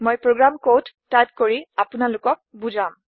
মই program code type কৰি আপোনালোকক বুজাম